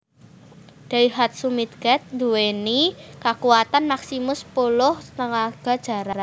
Daihatsu Midget nduweni kakuwatan maksimum sepuluh tenaga jaran